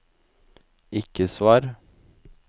ikke svar